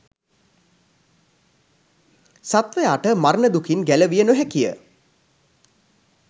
සත්වයාට මරණ දුකින් ගැලවිය නොහැකිය.